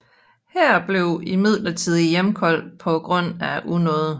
Her blev imidlertid hjemkaldt på grund af unåde